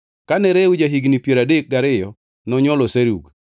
Kane Reu ja-higni piero adek gariyo nonywolo Serug.